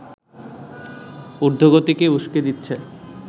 ঊর্ধ্বগতিকে উসকে দিচ্ছে